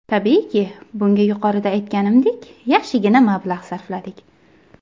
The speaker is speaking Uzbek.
Tabiiyki, bunga yuqorida aytganimdek, yaxshigina mablag‘ sarfladik.